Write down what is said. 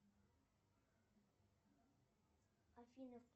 афина